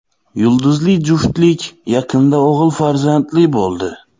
Yulduzli juftlik yaqinda o‘g‘il farzandli bo‘ldi.